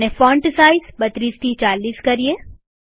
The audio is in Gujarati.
અને ફોન્ટ સાઈઝ 32 થી 40